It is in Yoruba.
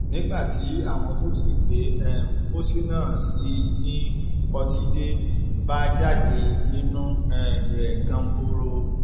nígbà tí àwọn tó sì gbé um pósí náà sí i ni pọtidé bá jáde nínú um rẹ ganbọrọ